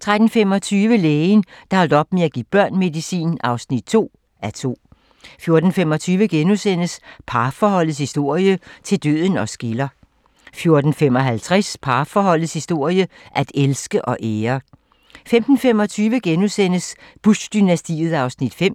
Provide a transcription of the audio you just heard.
13:25: Lægen, der holdt op med at give børn medicin (2:2) 14:25: Parforholdets historie - til døden os skiller * 14:55: Parforholdets historie - at elske og ære 15:25: Bush-dynastiet (5:6)*